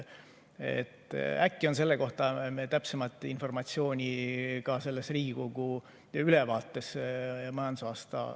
Äkki on selle kohta täpsemat informatsiooni ka selles Riigikogule antud majandusaasta ülevaates.